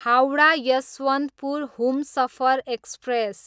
Howrah, Yesvantpur Humsafar express